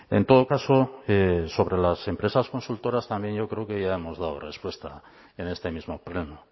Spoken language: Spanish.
en todo caso sobre las empresas consultoras también yo creo que ya hemos dado respuesta en este mismo pleno